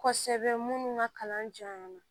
Kɔsɛbɛ minnu ka kalan jan na